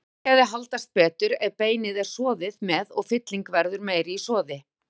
Bragðgæði haldast betur ef beinið er soðið með og fylling verður meiri í soði.